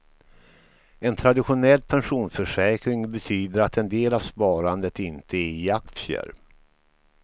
En traditionell pensionsförsäkring betyder att en del av sparandet inte är i aktier.